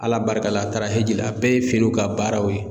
Ala barika la a taara hiji la a bɛɛ ye feerew ka baaraw ye.